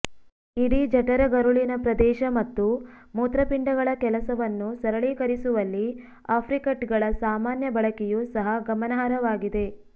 ಇಡೀ ಜಠರಗರುಳಿನ ಪ್ರದೇಶ ಮತ್ತು ಮೂತ್ರಪಿಂಡಗಳ ಕೆಲಸವನ್ನು ಸರಳೀಕರಿಸುವಲ್ಲಿ ಆಪ್ರಿಕಟ್ಗಳ ಸಾಮಾನ್ಯ ಬಳಕೆಯು ಸಹ ಗಮನಾರ್ಹವಾಗಿದೆ